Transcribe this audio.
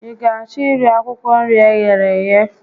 Ị ga achọ iri akwụkwọ nri eghere eghe?